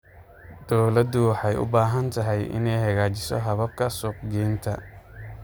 Dawladdu waxay u baahan tahay inay hagaajiso hababka suuq-geynta.